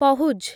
ପହୁଜ୍